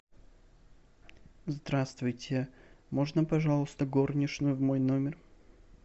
здравствуйте можно пожалуйста горничную в мой номер